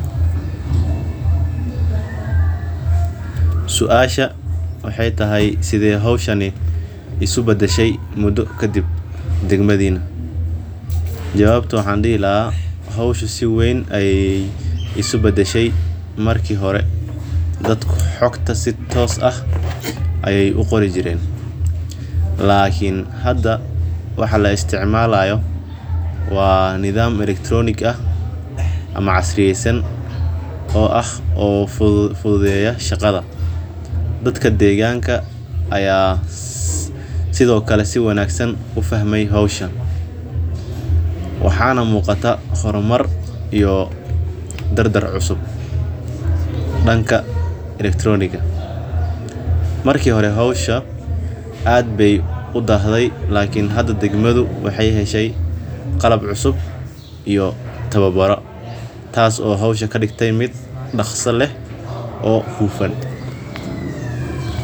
Suasha waxeey tahay sidee howshan isku badashe muda kadib dwgmadiina jawabo waxaan dihi lahaa si weyn ayeey isku badashe marki hore dadka xogta si caadi ah ayeey uqori jireen lakin hada waxaa la isticmaala xog fudud lakin hada sait ayeey qalab iyo tabaaro loo hele oo kadigte howsha mid hufan oo fudud.